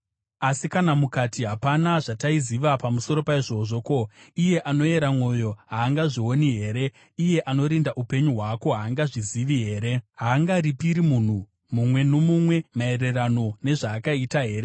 Asi kana mukati, “Hapana zvataiziva pamusoro paizvozvi?” Ko, iye anoyera mwoyo haangazvioni here? Iye anorinda upenyu hwako haangazvizivi here? Haangaripire munhu mumwe nomumwe maererano nezvaakaita here?